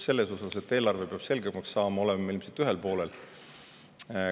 Selles osas, et eelarve peab selgemaks saama, oleme ilmselt ühel poolel.